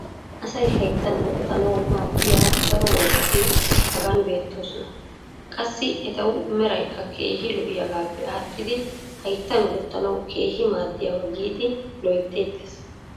asay hayttan wotanawu maadiya daro worqati hagan beetoososna. qassi etawu meraykka keehi lo'iyoogaappe aadhidi hayttan wotanawu keehi maaadiyaba giidi loyteettees.